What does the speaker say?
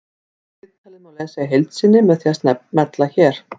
Viðtalið má lesa í heild sinni með því að smella hér